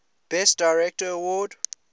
best director award